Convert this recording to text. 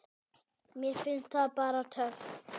Mér finnst það bara töff.